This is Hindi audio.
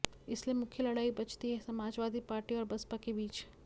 इसलिए मुख्य लड़ाई बचती है समाजवादी पार्टी और बसपा के बीच